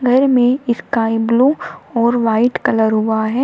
घर में sky blue और वाइट कलर हुआ है।